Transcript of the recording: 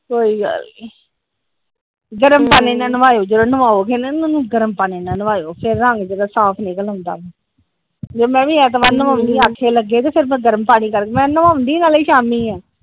ਕੋਈ ਗੱਲ ਨੀ ਗਰਮ ਪਾਣੀ ਨਾਲ ਨਵਾਏ ਉਹ ਜਦੋ ਨਵਾਓਗੇ ਹਣਾ ਇਹਨਾਂ ਨੂੰ ਗਰਮ ਪਾਣੀ ਨਵਾਏ ਉਹ ਫਿਰ ਰੰਗ ਜਿੱਦਾ ਸਾਫ ਨਿਕਲ ਆਉਂਦਾ ਆ ਜਦੋ ਮੈ ਵੀ ਐਤਵਾਰ ਨਵਉਣੀ ਆਖੇ ਲੱਗੇ ਤੇ ਫਿਰ ਮੈ ਗਰਮ ਪਾਣੀ ਕਰਕੇ ਮੈ ਨਾਵਉਂਦੀ ਨਾਲੇ ਸ਼ਾਮੀ ਆ ।